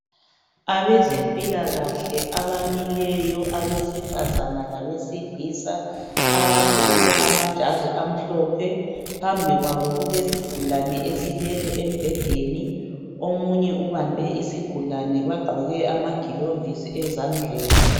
Abezempilakahle abamileyo abesifazana labesilisa abagqoke amajazi amhlophe, phambi kwabo kulesigulane esilele embhedeni omunye ubambe isigulane bagqoke amagilovisi ezandleni.